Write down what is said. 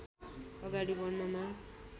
अगाडि बढ्नमा